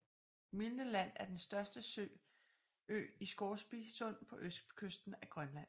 Milne Land er den største ø i Scoresby Sund på østkysten af Grønland